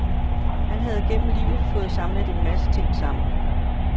Han havde gennem livet fået samlet en masse ting sammen.